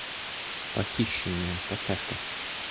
похищенная поставь ка